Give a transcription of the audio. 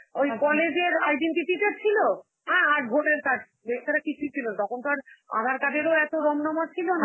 ওই college এর identity টা ছিল, অ্যাঁ আর voter card, এছাড়া কিছুই ছিল না, তখন তো আর আধার card এর ও এতো রমরমা ছিল না.